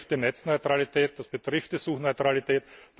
Das betrifft die Netzneutralität, das betrifft die Suchneutralität.